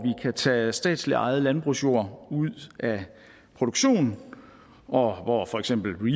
kan tage statsligt ejet landbrugsjord ud af produktion og hvor for eksempel